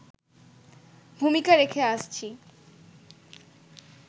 ভূমিকা রেখে আসছি